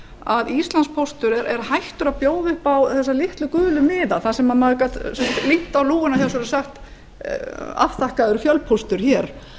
að íslandspóstur er hættur að bjóða upp á þessa litlu gulu miða þar sem maður gat límt á lúgurnar hjá sér og sagt afþakkaður fjölpóstur hér